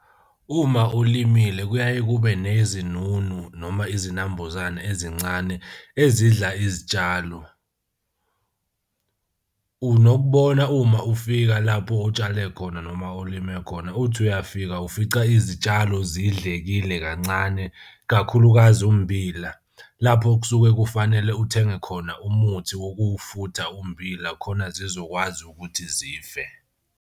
Uma ulimile kuyaye kube nezinunu noma izinambuzane ezincane ezidla izitshalo. Unokubonga uma ufika lapho otshale khona noma ulime khona, uthi uyafika ufica izitshalo zidlekile kancane, kakhulukazi ummbila. Lapho kusuke kufanele uthenge khona umuthi wokuwufutha ummbila khona zizokwazi ukuthi zife.